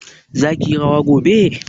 zaki yi rawa gobe?